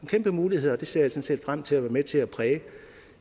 kæmpe muligheder og det ser set frem til at være med til at præge